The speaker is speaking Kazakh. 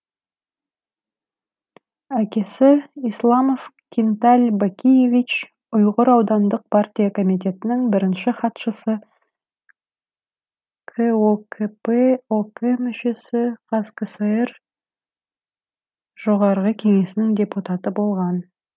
әкесі исламов кинталь бакиевич йғыр аудандық партия комитетінің бірінші хатшысы кокп ок мүшесі қазкср жоғарғы кеңесінің депутаты болған